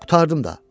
Qurtardım da.